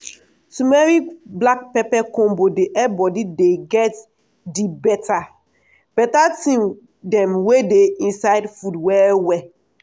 turmeric black pepper combo dey help body dey get di beta beta thing dem wey dey inside food well well.